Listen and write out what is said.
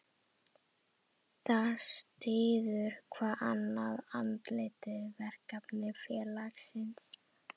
Þar styður hvað annað, andlegt, verklegt og félagslegt.